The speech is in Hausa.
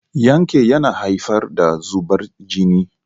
Yanke yana haifar da zubar jini